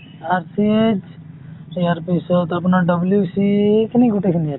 RCH ইয়াৰ পিছত আপোনাৰ WC , এইখিনি গোটেইখিনি আৰু |